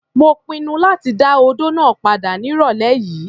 Mo pinnu láti dá odó náà padà ní ìrọ̀lẹ́ yìí.